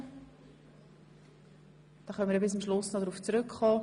Wir können am Schluss nochmals darauf zurückkommen.